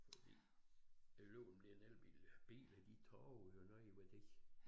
Fordi det ligemeget om det en elbil biler de taber jo noget i værdi